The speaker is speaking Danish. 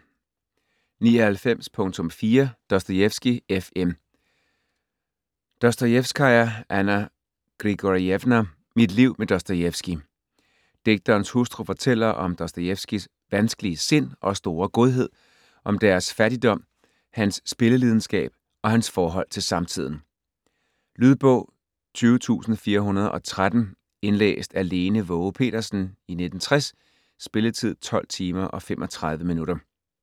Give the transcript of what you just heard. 99.4 Dostojevskij, F. M. Dostojevskaja, Anna Grigorjevna: Mit liv med Dostojevskij Digterens hustru fortæller om Dostojevskijs vanskelige sind og store godhed, om deres fattigdom, hans spillelidenskab og hans forhold til samtiden. Lydbog 20413 Indlæst af Lene Waage Petersen, 1960. Spilletid: 12 timer, 35 minutter.